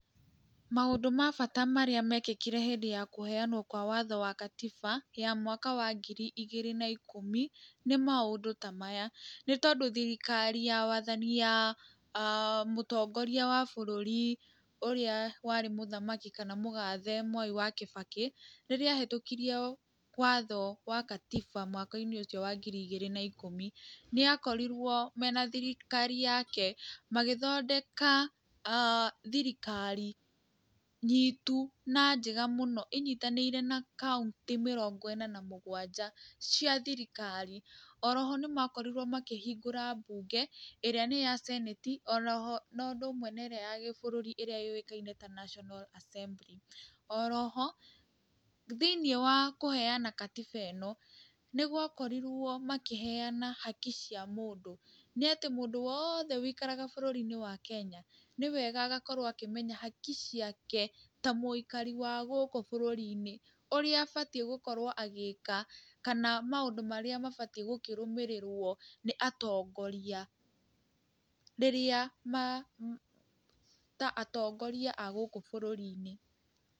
Maũndũ ma bata marĩa mekĩkire hĩndĩ ya kũheanwo kwa watho wa Katiba ya mwaka wa ngiri igĩrĩ na ikũmi nĩ maũndũ ta maya: Nĩ tondũ thirikari ya wathani ya Mutongoria wa bũrũri ũrĩa warĩ mũthamaki kana mũgathe Mwai wa Kĩbakĩ, rĩrĩa ahĩtũkirie watho wa Katiba mwaka-inĩ ũcio wa ngiri igĩrĩ na ikũmi, nĩ akorirwo mena thirikari yake magĩthondeka thirikari nyitu na njega mũno, ĩnyitanĩire na kaũntĩ mĩrongo ĩna na mũgwanja cia thirikari. Oro ho nĩ makorirwo makĩhingũra mbunge ĩrĩa nĩ ya Senate oro ho na ũndũ ũndũ ũmwe na ĩrĩa ya gĩbũrũri ĩrĩa yũĩkaine ta National Assembly. Oro ho thĩinĩ wa kũheana Katiba ĩno, nĩ gwakorirwo makĩheana haki cia mũndũ. Nĩ atĩ mũndũ wothe ũikaraga bũrũri wa Kenya nĩ wega agakorwo akĩmenya haki ciake ta mũikari wa gũkũ bũrũri-inĩ. Ũrĩa abatiĩ gũkorwo agĩka kana maũndũ marĩa mabatiĩ gũkĩrũmĩrĩrwo nĩ atongoria rĩrĩa ma, ta atongoria a gũkũ bũrũri-inĩ.